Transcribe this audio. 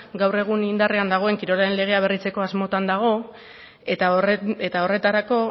gaur egun indarrean dagoen kirolaren legea berritzeko asmotan dago eta horretarako